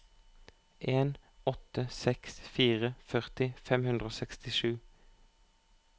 en åtte seks fire førti fem hundre og sekstisju